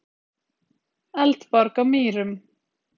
Eldborg á Mýrum.